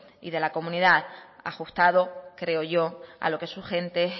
y de la comunidad ajustado creo yo a lo que su gente